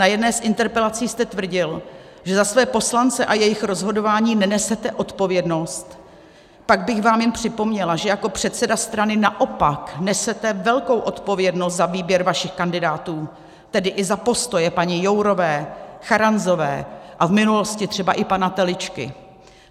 Na jedné z interpelací jste tvrdil, že za své poslance a jejich rozhodování nenesete odpovědnost, pak bych vám jen připomněla, že jako předseda strany naopak nesete velkou odpovědnost za výběr vašich kandidátů, tedy i za postoje paní Jourové, Charanzové a v minulosti třeba i pana Teličky.